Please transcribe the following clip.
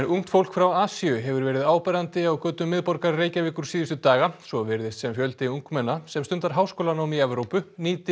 ungt fólk frá Asíu hefur verið áberandi á götum miðborgar Reykjavíkur síðustu daga svo virðist sem fjöldi ungmenna sem stundar háskólanám í Evrópu nýti